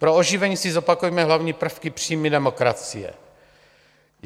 Pro oživení si zopakujme hlavní prvky přímé demokracie.